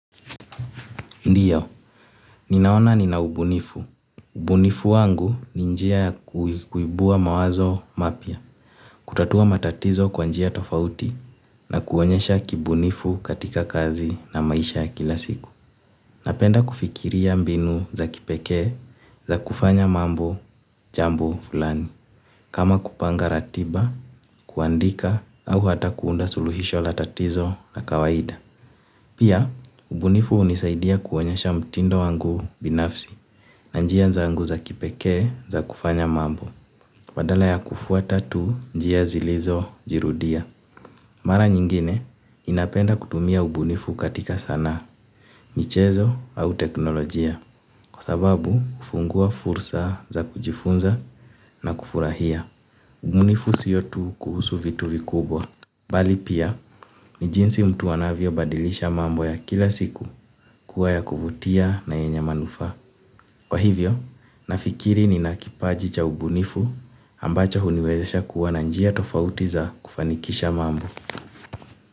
Ndiyo, ninaona nina ubunifu. Ubunifu wangu ni njia ya kuibua mawazo mapya. Kutatua matatizo kwa njia tofauti na kuonyesha kibunifu katika kazi na maisha kila siku. Napenda kufikiria mbinu za kipeke za kufanya mambo jambo fulani. Kama kupanga ratiba, kuandika au hata kuunda suluhisho la tatizo la kawaida. Pia, ubunifu unisaidia kuonyesha mtindo wangu binafsi. Na njia zangu za kipeke za kufanya mambo. Badala ya kufuata tu njia zilizojirudia. Mara nyingine ninapenda kutumia ubunifu katika sanaa, michezo au teknolojia. Kwa sababu, hufungua fursa za kujifunza na kufurahia. Ubunifu sio tu kuhusu vitu vikubwa bali pia, ni jinsi mtu anavyo badilisha mambo ya kila siku kuwa ya kuvutia na yenye manufaa. Kwa hivyo, nafikiri ninakipaji cha ubunifu ambacho huniwezesha kuwa na njia tofauti za kufanikisha mambo.